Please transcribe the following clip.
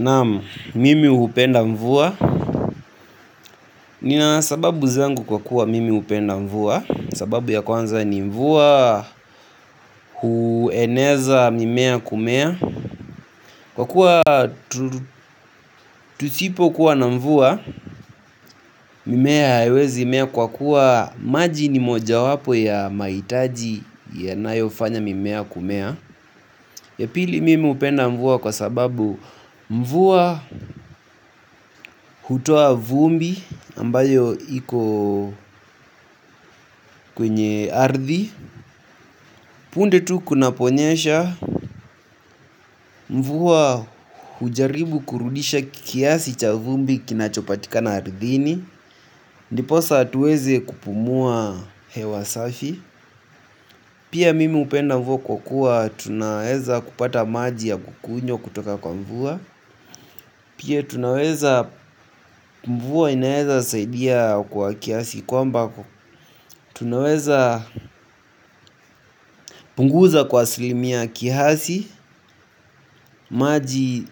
Naam mimi hupenda mvua. Nina sababu zangu kwa kuwa mimi upenda mvua. Sababu ya kwanza ni mvua hueneza mimea kumea. Kwa kuwa tusipo kuwa na mvua mimea haiwezi mea kwa kuwa maji ni moja wapo ya maitaji ya nayofanya mimea kumea. Yapili mimi upenda mvua kwa sababu mvua hutoa vumbi ambayo iko kwenye ardhi. Punde tu kunaponyesha mvua hujaribu kurudisha kiasi cha vumbi kinachopatika na ardhini ndiposa hatuwezi kupumua hewa safi. Pia mimi upenda mvua kwa kuwa tunaeza kupata maji ya kukunywa kutoka kwa mvua. Pia tunaweza mvua inaeza saidia kwa kiasi. Kwa mba tunaweza punguza kwa asilimia kihasi. Maji